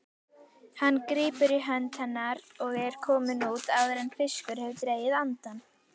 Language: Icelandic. Hann grípur í hönd hennar og er kominn út áður en fiskur hefur dregið andann.